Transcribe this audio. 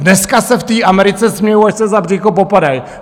Dneska se v té Americe smějou, až se za břicho popadají.